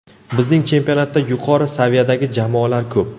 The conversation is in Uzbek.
Bizning chempionatda yuqori saviyadagi jamoalar ko‘p.